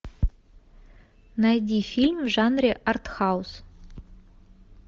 найди фильм в жанре артхаус